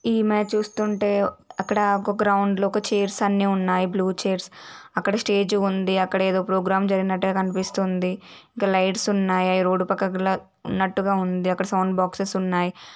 ఈమె చూస్తుంటే ఒక గ్రౌండ్ లో చైర్స్ అన్నీ ఉన్నాయ బ్లూ చేర్స్ అక్కడ స్టేజి ఉంది అక్కడ ఏదో ప్రోగ్రాం జరిగినట్టుగా కనిపిస్తుంది ఇక్కడ లైట్స్ ఉన్నాయి అక్కడ రోడ్డు పక్కన ఉన్నట్టుగా ఉంది సౌండ్ బాక్స్ ఉన్నాయి.